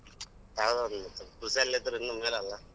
ಕೃಷಿಯಲ್ಲಿದ್ರೂ ಇನ್ನೂ ಮೇಲೆ ಅಲ್ಲಾ.